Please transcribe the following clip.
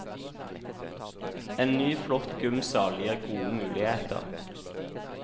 En ny flott gymsal gir gode muligheter.